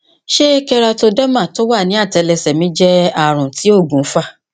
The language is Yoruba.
ṣé keratoderma tó wà ní àtẹlẹsẹ mí jẹ ààrùn tí òògùn fà